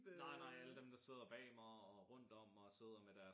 Nej nej alle dem der sidder bag mig og rundt om og sidder med deres